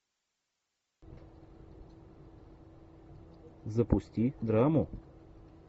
запусти драму